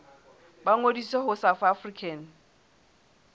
ba ngodise ho south african